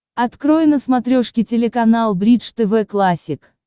открой на смотрешке телеканал бридж тв классик